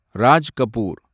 Raj Kapoor